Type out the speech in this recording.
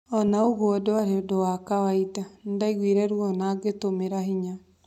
Ona uguo itiari undũ wa kawaida:nĩndaiguire ruo na ngitumira binya.